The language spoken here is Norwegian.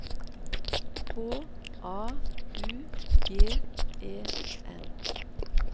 H A U G E N